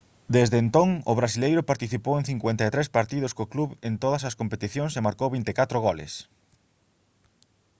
desde entón o brasileiro participou en 53 partidos co club en todas as competicións e marcou 24 goles